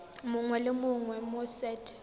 mongwe le mongwe mo set